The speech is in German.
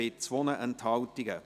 Der Grosse Rat beschliesst: